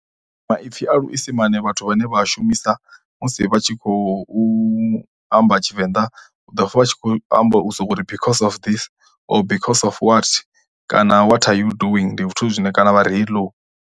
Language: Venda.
Maipfi a luisimane vhathu vhane vha a shumisa musi vha tshi khou u amba Tshivenda, u ḓo pfha vha tshi khou amba u sokou ri because of this, or because of what kana vhat are you doing, Ndi zwithu zwine kana vha ri hello.